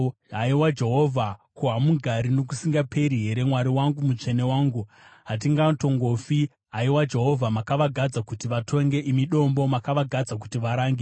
Haiwa Jehovha, ko hamugari nokusingaperi here? Mwari wangu, mutsvene wangu, hatingatongofi. Haiwa Jehovha, makavagadza kuti vatonge; imi Dombo, makavagadza kuti varange.